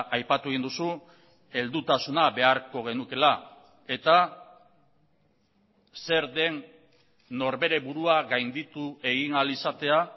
aipatu egin duzu heldutasuna beharko genukeela eta zer den norbere burua gainditu egin ahal izatea